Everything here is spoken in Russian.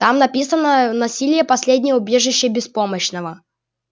там написано насилие последнее убежище беспомощного